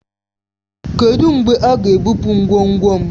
Kedụ mgbe a ga-ebupu ngwongwo m?